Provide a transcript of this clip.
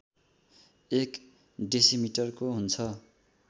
एक डेसिमिटरको हुन्छ